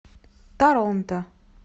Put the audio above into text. торонто